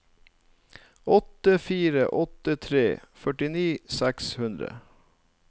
åtte fire åtte tre førtini seks hundre